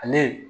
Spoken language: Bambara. Ale